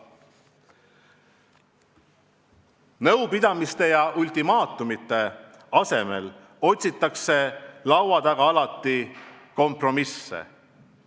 Nõudmiste ja ultimaatumite asemel otsitakse laua taga alati kompromisse.